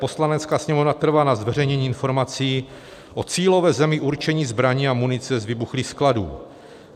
Poslanecká sněmovna trvá na zveřejnění informací o cílové zemi určení zbraní a munice z vybuchlých skladů.